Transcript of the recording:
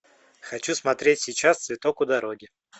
хочу смотреть сейчас цветок у дороги